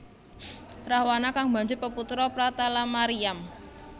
Rahwana kang banjur peputra Pratalamariyam